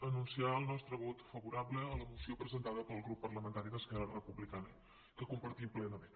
anunciar el nostre vot favorable a la moció presentada pel grup parlamentari d’esquerra republicana que compartim plenament